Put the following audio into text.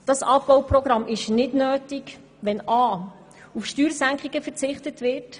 Dieses Abbauprogramm ist nicht nötig, wenn einerseits auf Steuersenkungen verzichtet wird.